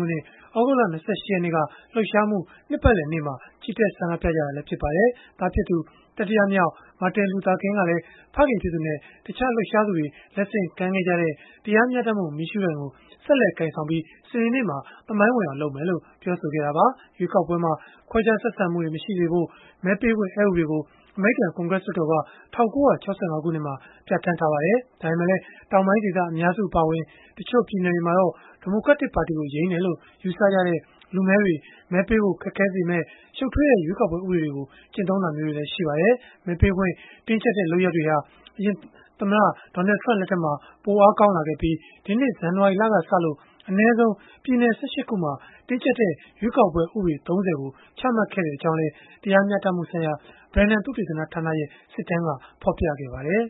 နှစ် သြဂုတ်လ ၂၈ ရက်နေ့က လှုပ်ရှားမှု နှစ်ပတ်လည်နေ့မှာ ချီတက် ဆန္ဒပြခဲ့ကြတာလည်း ဖြစ်ပါတယ်။ သားဖြစ်သူ တတိယမြောက် Martin Luther King ကလည်း ဖခင်ဖြစ်သူနဲ့ တခြားလှုပ်ရှားသူတွေ လက်ဆင့်ကမ်းခဲ့ကြတဲ့ တရားမျှတမှု မီးရှုးတိုင်ကို ဆက်လက်ကိုင်ဆောင်ပြီး စနေနေ့မှာ သမိုင်းဝင်အောင် လုပ်မယ်လို့ ပြောခဲ့တာပါ။ ရွေးကောက်ပွဲမှာ ခွဲခြားဆက်ဆံမှုတွေ မရှိစေဖို့ မဲပေးခွင့် အက်ဥပဒေကို အမေရိကန် ကွန်ဂရက်လွှတ်တော်က ၁၉၆၅ ခုနှစ်မှာ ပြဌာန်းခဲ့ပါတယ်။ ဒါပေမဲ့လည်း တောင်ပိုင်းဒေသ အများစု အပါအဝင် တချို့ပြည်နယ်တွေမှာတော့ ဒီမိုကရက်ပါတီကို ယိမ်းတယ်လို့ ယူဆကြတဲ့ လူမည်းတွေ မဲပေးဖို့ ခက်ခဲစေတဲ့ ရှုပ်ထွေးတဲ့ ရွေးကောက်ပွဲ ဥပဒေတွေကို ကျင့်သုံးတာတွေလည်း ရှိပါတယ်။ မဲပေးခွင့် တင်းကျပ်တဲ့ လုပ်ရပ်တွေဟာ အရင်သမ္မတ Donald Trump လက်ထက်မှာ ပိုအားကောင်းလာခဲ့ပြီး၊ ဒီနှစ် ဇန်နဝါရီလကစ အနည်းဆုံး ပြည်နယ် ၁၈ ခုမှာ တင်းကျပ်တဲ့ ရွေးကောက်ပွဲ ဥပဒေ ၃၀ ကို ချမှတ်ခဲ့ကြောင်းလည်း တရားမျှတမှုဆိုင်ရာ Brennan သုတေသနဌာနရဲ့ စစ်တမ်းက ဖော်ပြပါတယ်။